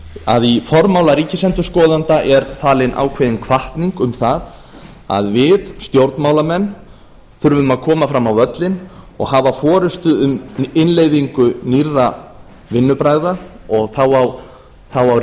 að í formála ríkisendurskoðanda er falin ákveðin hvatning um það að við stjórnmálamenn þurfum að koma fram á völlinn og hafa forustu um innleiðingu nýrra vinnubragða og þá á